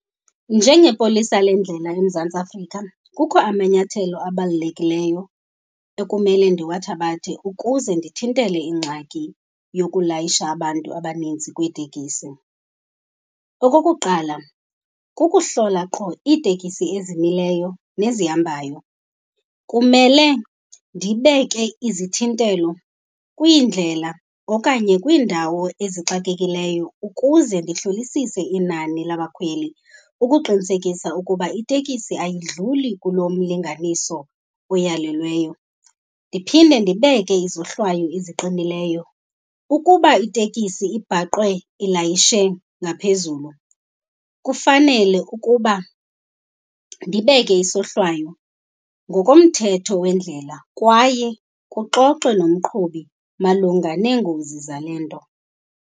Njengepolisa lendlela eMzantsi Afrika kukho amanyathelo abalulekileyo ekumele ndiwathabathe ukuze ndithintele ingxaki yokulayisha abantu abanintsi kwiitekisi. Okokuqala, kukuhlola qho iitekisi ezimileyo nezihambayo. Kumele ndibeke izithintelo kwiindlela okanye kwiindawo ezixakekileyo ukuze ndihlolisise inani labakhweli ukuqinisekisa ukuba itekisi ayidluli kulomlinganiso uyalelweyo. Ndiphinde ndibeke izohlwayo eziqinileyo. Ukuba itekisi ibhaqwe ilayishe ngaphezulu kufanele ukuba ndibeke isohlwayo ngokomthetho wendlela kwaye kuxoxwe nomqhubi malunga neengozi zale nto.